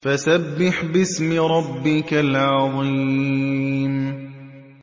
فَسَبِّحْ بِاسْمِ رَبِّكَ الْعَظِيمِ